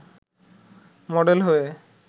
model হয়ে